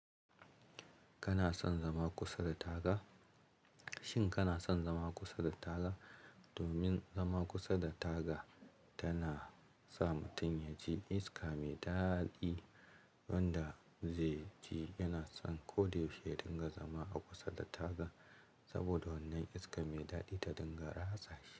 Kana son zama kusa da taga? Shin kana son zama kusa da taga? Domin zama kusa da taga tana sa mutum ya ji iska mai daɗi wanda zai ji yana son ko da yaushe yadinga zama a kusa da taga saboda wannan iska mai daɗi ta dinga ratsa shi.